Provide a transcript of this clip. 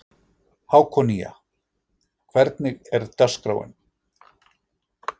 Hákonía, hvernig er dagskráin?